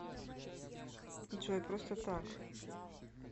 джой просто так